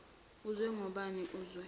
uzwe ngobani uzwe